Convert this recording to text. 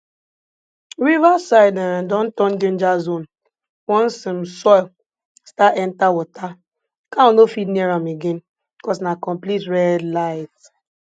river side um don turn danger zone once um soil start enter water cow no fit near am again cause na complete red light